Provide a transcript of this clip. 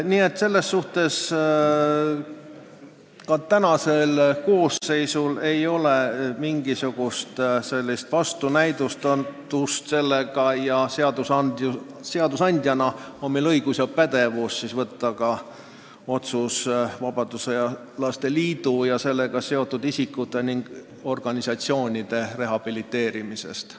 Nii et selles mõttes ei ole ka praegusel koosseisul mingisugust vastunäidustust seadusandjana vastu võtta otsus vabadussõjalaste liidu ja sellega seotud isikute ning organisatsioonide rehabiliteerimise kohta.